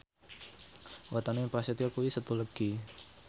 wetone Prasetyo kuwi Setu Legi